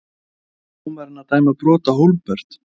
Var dómarinn að dæma brot Á Hólmbert?